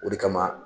O de kama